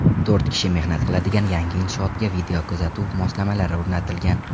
To‘rt kishi mehnat qiladigan yangi inshootga videokuzatuv moslamalari o‘rnatilgan.